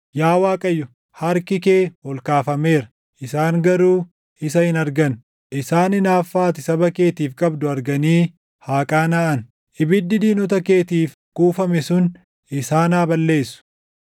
Yaa Waaqayyo, harki kee ol kaafameera; isaan garuu isa hin argan. Isaan hinaaffaa ati saba keetiif qabdu arganii haa qaanaʼan; ibiddi diinota keetiif kuufame sun isaan haa balleessu.